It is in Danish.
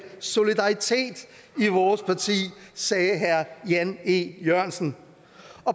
solidaritet i vores parti sagde herre jan e jørgensen